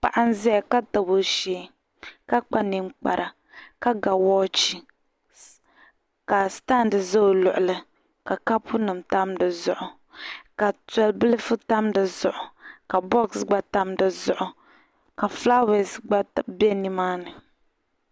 Paɣa n ʒaya , ka tabi ɔ shee, ka kpa nin kpara kar ga wach, ka stand ʒɛ ɔ luɣili zuɣu ka kapu nim di zuɣu, ka to bilifu tam di zuɣu, ka bɔx gba tam di zuɣu, ka fulawese gba be ni maani.